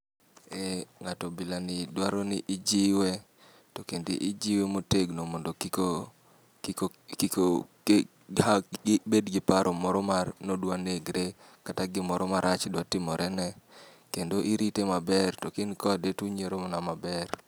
Eh ng'ato bilani dwaro ni ijiwe, to kendo ijiwe motegno mondo kik kiko kik gibed gi paro moro ni odwa negre, kata gimoro marach dwa timorene. Kendo irite maber to ka in kode to unyiero mana maber.